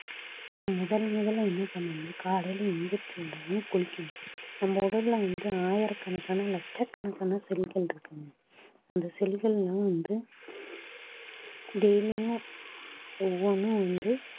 முதல் முதலா என்ன பண்ணனும்னா காலையில எழுந்திருச்ச உடனே குளிக்கணும் நம்ம உடலில வந்து ஆயிரக்கணக்கான லட்சக்கணக்கான cell கள் இருக்குங்க அந்த cell கள்லாம் வந்து daily யும் ஒவ்வொண்ணா வந்து